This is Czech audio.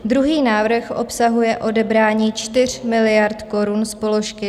Druhý návrh obsahuje odebrání 4 miliard korun z položky